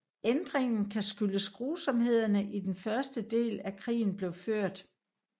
Ændringen kan skyldes grusomhederne i den første del af krigen blev ført